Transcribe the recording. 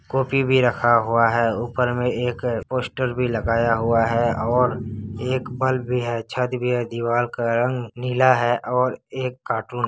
coffee भी रखा हुआ है ऊपर मैं एक पोस्टर भी लगाया हुआ है और एक बल्ब भी है छत भी है दीवाल का रंग नीला है और एक कार्टून --